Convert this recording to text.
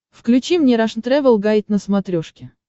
включи мне рашн тревел гайд на смотрешке